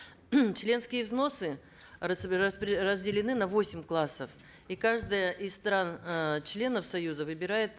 членские взносы разделены на восемь классов и каждая из стран э членов союза выбирает